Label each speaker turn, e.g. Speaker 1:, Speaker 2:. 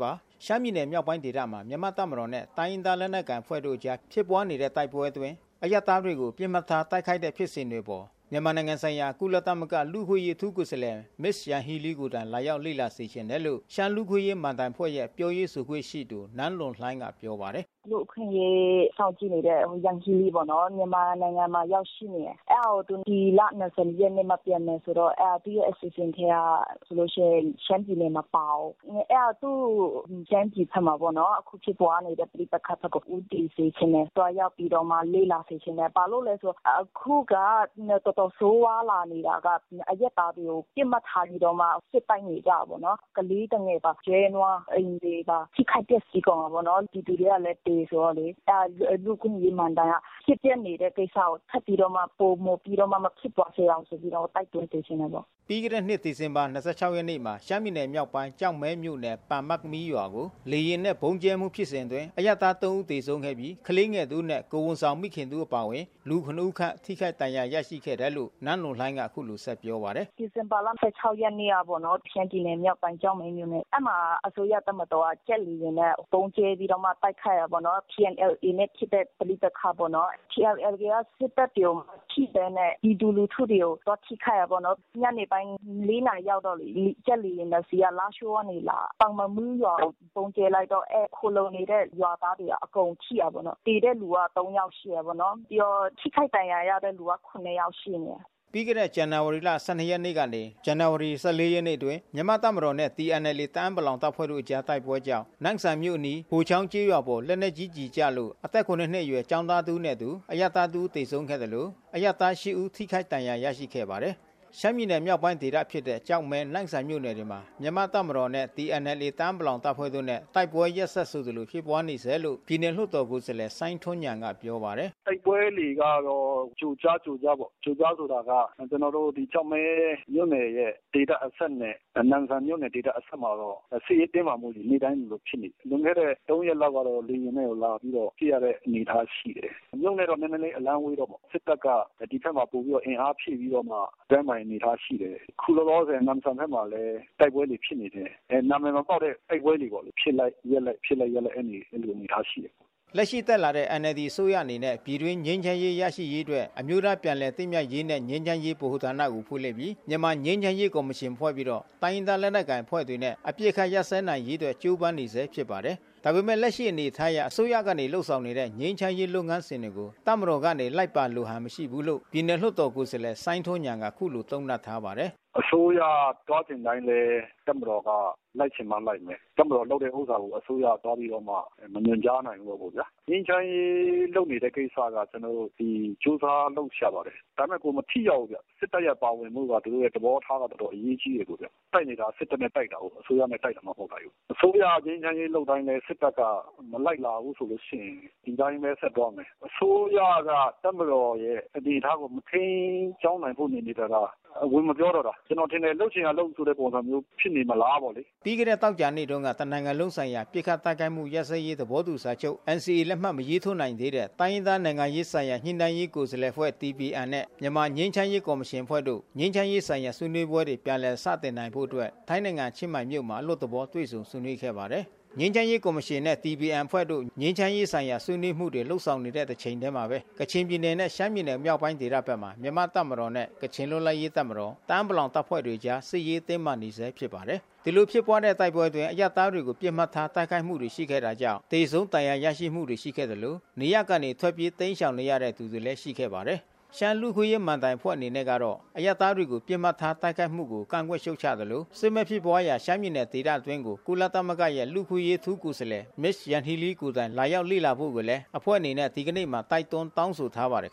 Speaker 1: ပါတယ်။ ရှမ်းပြည်နယ်မြောက်ပိုင်းဒေသမှာ မြန်မာ့တပ်မတော်နဲ့တိုင်းရင်းသားလက်နက်ကိုင်အဖွဲ့တို့အကြား ဖြစ်ပွါးနေတဲ့ တိုက်ပွဲအတွင်း အရပ်သားတွေကို ပစ်မှတ်ထားတိုက်ခိုက်နေတဲ့ဖြစ်စဉ်တွေအပေါ် မြန်မာနိုင်ငံဆိုင်ရာ ကုလသမဂ္ဂရဲ့ လူ့အခွင့်အရေးအထူးကိုယ်စားလှယ် Ms Yanghee Lee ကိုယ်တိုင်လာရောက်လေ့လာစေချင်တယ်လို့ ရှမ်းလူ့ အခွင့် အရေးမဏ္ဍိုင်အဖွဲ့ရဲ့ပြောရေးဆိုခွင့်ရှိသူ နန်းလွန်လှိုင်းကပြောပါတယ်။
Speaker 2: “လူ့အခွင့်အရေး စောင့်ကြည့်နေတဲ့ Yanghee Lee ပေါ့နော် မြန်မာနိုင်ငံကို ရောက်ရှိနေတယ်။ အဲဒါကို ဒီလ ၂၀ ရက်နေ့မှ ပြန်မယ်ဆိုတော့ သူ့အစီအစဉ်ထဲမှာဆိုရင် ရှမ်းပြည်နယ်မပါဘူး။ အဲဒါသူ့ ရှမ်းပြည်ဘက်မှာပေါ့နော် အခုဖြစ်ပွားနေတဲ့ ပဋိပက္ခဘက်ကို ဦးတည်စေချင်တယ်၊ သူသွားရောက်ပြီးတော့ လေ့လာစေချင်တယ်။ ဘာလို့လဲဆိုရင် အခုကတော်တော်ဆိုးဝါးလာနေတာက အရပ်သားတွေကို ပစ်မှတ်ထားပြီးတော့မှ စစ်တိုက်နေကြတာပေါ့နော်။ ကလေးသူငယ်၊ ကျွဲနွား အိမ်တွေပါ၊ ထိခိုက်ပျက်စီးကုန်တာပေါ့နော် ပြည်သူကလည်းသေဆိုတော့ လူ့အခွင့်အရေး မဏ္ဍိုင်က ဖြစ်ပျက်နေတဲ့ကိစ္စကို ထပ်ပြီးတော့ ပိုမဖြစ်အောင်ဆိုပြီးတော့မှ တိုက်တွန်းစေချင်တ
Speaker 1: ယ်ပေါ့။” ပြီးခဲ့တဲ့နှစ် ဒီဇင်ဘာ ရက်နေ့မှာ ရှမ်းပြည်နယ်မြောက်ပိုင်း ကျောက်မဲမြို့နယ် ပန်မတ်မီးရွာကို လေယာဉ်နဲ့ ဗုံးကြဲမှု ဖြစ်စဉ်အတွင်း အရပ်သား ဦးသေဆုံးပြီး ကလေးငယ် တဦးနဲ့ကိုယ်ဝန်ဆောင် မိခင်တဦးအပါဝင် လူ ဦးခန့်ထိခိုက် ဒဏ်ရာရရှိခဲ့တယ်လို့ နန်းလွန်လှိုင်းကဆက်ပြောပါတယ်။
Speaker 2: “ဒီဇင်ဘာ ရက်နေ့ညကပေါ့နော် ရှမ်းပြည်နယ်မြောက်ပိုင်း ကျောက်မဲမြို့နယ် အဲဒီမှာ အစိုးရတပ်မတော်က ဂျက်လေယာဉ်နဲ့ ဗုံးကျဲပြီးတော့မှ တိုက်ခိုက်တာပေါ့နော် TNLA နဲ့ ဖြစ်တဲ့ ပဋိပက္ခ ပေါ့နော် TNLA က စစ်တပ်တွေကို အဲဒီ ဗုံးမထိပဲ ပြည်သူတွေကို သွားထိခိုက်တာပေါ့နော်။ ညနေပိုင်း ၄ နာရီရောက်တော့ ဂျက်လေယာဉ် ၂ စီးက လားရှိုးကနေလာတယ်။ ရွာကိုဗုံးကြဲလိုက်တော့ အဲဒီ ခိုလုံနေတဲ့ ရွာသားတွေ အကုန်ထိတာပေါ့နော်။ သေတဲ့လူက ၃ ယောက်ရှိတယ်ပေါ့နော် ထိခိုက်ဒဏ်ရာရတာက ၇ ယောက်ရှိနေတယ်။
Speaker 1: ” ပြီးခဲ့တဲ့ ဇန်နဝါရီလ ၁၂ရက်နေ့ကနေ ဇန်နဝါရီလ ၁၄ရက်ကာလအတွင်း မြန်မာ့တပ်မတော်နဲ့ TNLA တအာင်းပလောင် တပ်ဖွဲ့တို့ကြား တိုက်ပွဲကြောင့် နမ့်ဆန်မြို့အနီး ဟိုချောင်းကျေးရွာပေါ် လက်နက်ကြီးကျည်ကျလို့ အသက် နှစ် အရွယ် ကျောင်းသားတဦးနဲ့အတူ အရပ်သားတဦးသေဆုံးခဲ့သလို အရပ်သား ဦး ထိခိုက်ဒဏ်ရာရရှိခဲ့ ပါတယ်။ ရှမ်းပြည်နယ်မြောက်ပိုင်းဒေသဖြစ်တဲ့ ကျောက်မဲ နမ့်ဆန်မြို့နယ်တွေမှာ မြန်မာ့တပ်မတော်နဲ့ TNLAတအာင်းပလောင် တပ်ဖွဲ့တို့နဲ့ တိုက်ပွဲတွေရက်ဆက်ဆိုသလိုဖြစ်ပွါးနေဆဲလို့ ပြည်နယ်လွှတ်တော်ကိုယ်စားလှယ် စိုင်းထွန်းညာဏ်က ပြောပါတယ်။
Speaker 3: “တိုက်ပွဲတွေကတော့ ကြိုကြားကြိုကြားပေါ့ ကျနော်တို့ ကျောက်မဲမြို့နယ်ရဲ့ ဒေသအစပ်နဲ့ နမ့်ဆန်မြို့နယ် ဒေသအစပ်မှာတော့ နေ့တိုင်းလိုလိုတိုက်ပွဲတွေက ဖြစ်နေတယ်။ လွန်ခဲ့တဲ့ ၃ ရက်လောက်ကတော့ လေယာဉ်နဲ့ကိုလာပြီးတော့ ပစ်တဲ့အနေအထားရှိတယ်။ မြို့နဲ့တော့ နည်းနည်းဝေးတာပေါ့နော်။ စစ်တပ်က ဒီဘက်မှာ ပိုပြီးတော့ အင်အားဖြည့်ပြီးတော့မှ တိုက်တဲ့အနေအထားရှိတဲ့ အခုလောလောဆယ်နမ့်ဆန် ဘက်မှာလည်း တိုက်ပွဲတွေဖြစ်နေတယ်။ နာမည်မပေါက်တဲ့တိုက်ပွဲတွေပေါ့လေ၊ ဖြစ်လိုက်ရပ်လိုက် အဲဒီအနေအထားရှိတယ်။”
Speaker 1: လက်ရှိတက်လာတဲ့NLDအစိုးရအနေနဲ့ပြည်တွင်းငြိမ်းချမ်းရေးရရှိရေးအတွက် အမျိုးသားပြန်လည်သင့်မြတ်ရေးနှင့် ငြိမ်းချမ်းရေး ဗဟိုဌာနကိုဖွင့်လှစ်ပြီး မြန်မာငြိမ်းချမ်းရေးကော်မရှင်ဖွဲ့ပြီးတော့ တိုင်းရင်းသားလက်နက်ကိုင်အဖွ့ဲတွေနဲ့ အပစ်အခတ်ရပ်စဲနိုင်ရေးအတွက် ကြိုးပမ်းနေဆဲဖြစ်ပါတယ်။ ဒါပေမဲ့ လက်ရှိအနေအထားအရ အစိုးရကနေလုပ်ဆောင်နေတဲ့ ငြိမ်းချမ်းရေးလုပ်ငန်းစဉ်ကို တပ်မတော်ကနေ လိုက်ပါလိုဟန်မရှိဘူးလို့ပြည်နယ်လွှတ်တော်ကိုယ်စားလှယ် စိုင်းထွန်းညာဏ်က အခုလိုသုံးသပ်ထားပါတယ်။
Speaker 3: “အစိုးရသွားချင်တိုင်းလည်း တပ်မတော်က လိုက်ချင်မှ လိုက်မယ်။ တပ်မတော်လုပ်တဲ့ဟာကို အစိုးရက မညွန်ကြားနိုင်ဘူးပေါ့ဗျာ။ ငြိမ်းချမ်းရေးလုပ်နေတဲ့ ကိစ္စက ကျနော်တို့အစိုးရက ကြိုးစားပြီး လုပ်ရှာပါတယ်။ ဒါပေမယ့် မထိရောက်ဘူးခင်ဗျ စစ်တပ်ရဲ့ပါဝင်မှု သဘောထားက ပိုအရေးကြီးတယ်ခင်ဗျ အခုတိုက်နေတာက စစ်တပ်နဲ့ တိုက်တာကို အစိုးရနဲ့ တိုက်တာမှ မဟုတ်တာကို။ အစိုးရက ငြိမ်းချမ်းရေးလုပ်တိုင်းလည်း စစ်တပ်က မလိုက်လာဘူးဆိုရင် ဒီအတိုင်းပဲ ဆက်သွားမယ်။ အစိုးရက တပ်မတော်ရဲ့ အနေအထားကို ထိန်းကျောင်းနိုင်ဖို့ နေနေသာသာ ဝင်မပြောတော့တာ။ ကျနော်ထင်တယ် လုပ်ချင်ရာလုပ်ဆိုတဲ့ ပုံစံမျိုးဖြစ်နေမလားပေါ့လေ။
Speaker 1: ” ပြီးခဲ့တဲ့သောကြာနေ့တုန်းက တနိုင်ငံလုံး ပစ်ခတ်တိုက်ခိုက်မှု ရပ်စဲရေးသဘောတူစာချုပ် လက်မှတ်မရေးထိုး နိုင်သေးတဲ့ တိုင်းရင်းသားနိုင်ငံရေး ဆိုင်ရာ ညှိနှိုင်းဆွေးနွေးရေးကိုယ်စားလှယ်အဖွဲ့ DPNနဲ့ မြန်မာငြိမ်းချမ်းရေးကော် မရှင်အဖွဲ့တို့ ငြိမ်းချမ်းရေးဆိုင်ရာဆွေးနွေးပွဲတွေပြန်လည်စတင်နိုင်ဖို့အတွက် ထိုင်းနိုင်ငံချင်းမိုင်မြို့မှာ အလွတ်သဘော တွေ့ဆုံဆွေးနွေးခဲ့ကြပါတယ်။ ငြိမ်းချမ်းရေးကော်မရှင်နှင့် DPNအဖွဲ့တို့ ငြိမ်းချမ်းရေးဆိုင်ရာဆွေးနွေးမှုတွေလုပ်ဆောင်နေတဲ့တချိန်ထဲမှာဘဲ ကချင် ပြည်နယ်နဲ့ ရှမ်းပြည်နယ်မြောက်ပိုင်းဒေသဘက်မှာ မြန်မာ့တပ်မတော်နဲ့ ကချင်လွတ်လပ်ရေးတပ်မတော် တအာင်း ပလောင်တပ်ဖွဲ့တွေအကြားစစ်ရေးတင်းမာနေဆဲဖြစ်ပါတယ်။ ဒီလိုဖြစ်ပွါးတဲ့တိုက်ပွဲအတွင်း အရပ်သားတွေကိုပစ်မှတ်ထားတိုက်ခိုက်မှုတွေရှိခဲ့တာကြောင့် သေဆုံးဒဏ်ရာရမှုတွေ ရှိခဲ့သလို နေရပ်ကနေ ထွက်ပြေးတိမ်းရှောင်နေရတဲ့သူတွေလဲရှိခဲ့ပါတယ်။ ရှမ်းလူ့အခွင့် အရေးမဏ္ဍိုင်အဖွဲ့အနေနဲ့ကတော့ အရပ်သားတွေကိုပစ်မှတ်ထားတိုက်ခိုက်မှုကိုကန့်ကွက်ရှံ့ချသလို စစ်မက်ဖြစ်ပွါးရာရှမ်းပြည်နယ်ဒေသအတွင်းကို ကုလသမဂ္ဂရဲ့ လူ့အခွင့်အရေးအထူးကိုယ်စားလှယ် Ms Yanghee Lee ကိုယ်တိုင်လာရောက်လေ့လာဖို့ကိုလဲ အဖွဲ့နေနဲ့ဒီကနေ့မှာတိုက်တွန်းတောင်းဆိုထားပါတယ်